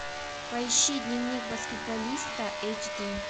поищи дневник баскетболиста эйч ди